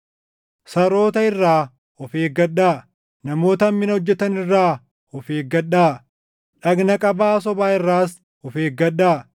Saroota irraa of eeggadhaa; namoota hammina hojjetan irraa of eeggadhaa; dhagna qabaa sobaa irraas of eeggadhaa.